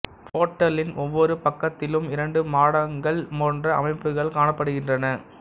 போர்ட்டலின் ஒவ்வொரு பக்கத்திலும் இரண்டு மாடங்கள் போன்ற அமைப்புகள் காணப்படுகின்றன